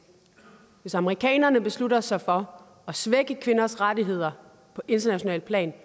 hvis amerikanerne beslutter sig for at svække kvinders rettigheder på internationalt plan